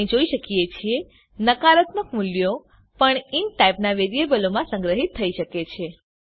આપણે જોઈ શકીએ છે નકારાત્મક મુલ્યો પણ ઇન્ટ ટાઇપના વેરીએબલોમાં સંગ્રહીત થઇ શકે છે